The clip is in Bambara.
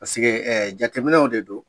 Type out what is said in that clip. ɛ jateminɛw de don